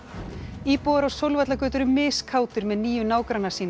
íbúar á Sólvallagötu eru með nýju nágranna sína